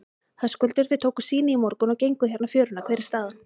Höskuldur: Þið tókuð sýni í morgun og genguð hérna fjöruna, hver er staðan?